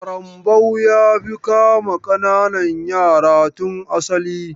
ƙarambau ya fi kama ƙananan yara tun asali.